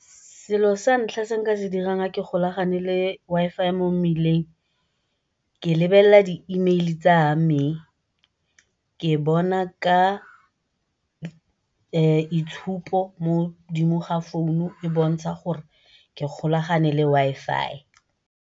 Selo sa ntlha se nka se dirang ha ke golagane le Wi-Fi mo mmileng, ke lebelela di-email-i tsa me. Ke bona ka itshupo mo godimo ga founu go bontsha gore ke golagane le Wi-Fi.